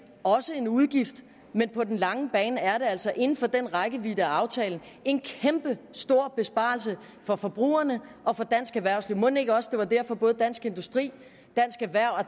også en udgift men på den lange bane er der altså inden for den rækkevidde af aftalen en kæmpestor besparelse for forbrugerne og for dansk erhvervsliv mon ikke også det var derfor at både dansk industri